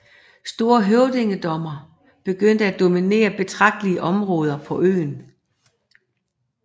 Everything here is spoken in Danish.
Store høvdingedømmer begyndte at dominere betragtelige områder på øen